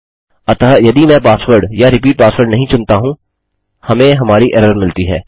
अतः यदि मैं पासवर्ड या रिपीट पासवर्ड नहीं चुनता हूँ हमें हमारी एरर मिलती है